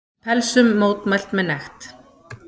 Pelsum mótmælt með nekt